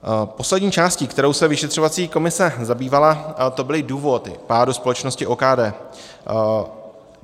Poslední částí, kterou se vyšetřovací komise zabývala, to byly důvody pádu společnosti OKD.